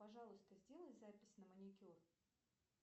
пожалуйста сделай запись на маникюр